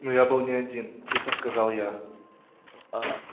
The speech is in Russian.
но я был не один тихо сказал я